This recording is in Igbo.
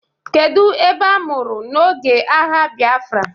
kedu ebe amuru n'oge agha Biafra?